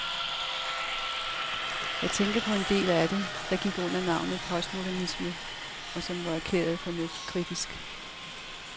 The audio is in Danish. Jeg tænker på en hel del af det, der gik under navnet postmodernisme, og som var erklæret fornuftskritisk.